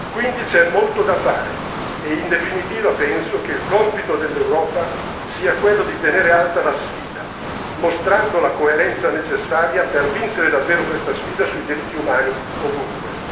Quindi c'è molto da fare e, in definitiva, penso che il compito dell'Europa sia quello di tenere alta la sfida, mostrando la coerenza necessaria per vincere davvero questa sfida sui diritti umani ovunque.